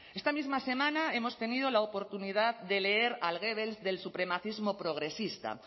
esta misma semana hemos tenido la oportunidad de leer al goebbels del supremacismo progresista